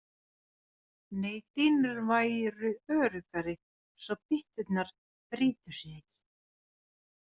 Nei dýnur væru öruggari svo bytturnar brytu sig ekki.